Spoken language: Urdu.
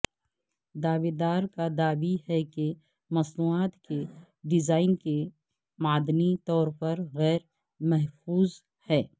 دعوے دار کا دعوی ہے کہ مصنوعات کے ڈیزائن معدنی طور پر غیر محفوظ ہے